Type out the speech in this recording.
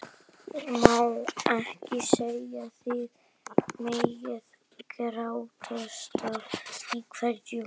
Ég má ekki sjenera þig með grátstaf í kverkum.